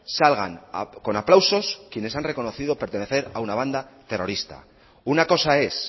salgan con aplausos quienes han reconocido pertenecer a una banda terrorista una cosa es